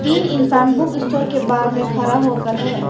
तीन इंसान book store के बाहर में खड़ा होकर है।